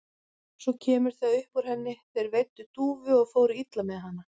Svo kemur það upp úr henni: Þeir veiddu dúfu og fóru illa með hana.